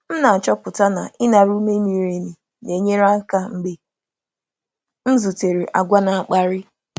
M na-achọpụta na ịnara ume miri emi na-enyere aka mgbe m zutere àgwà na-akparị.